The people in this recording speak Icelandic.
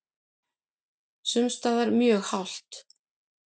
Sums staðar mjög hált